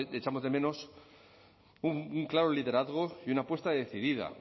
echamos de menos un claro liderazgo y una apuesta decidida